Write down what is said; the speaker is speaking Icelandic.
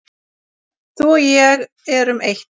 Þú og ég erum eitt.